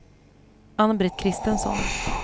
Ann-Britt Christensson